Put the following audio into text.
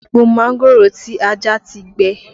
Èpò mángòrò tí a já ti gbẹ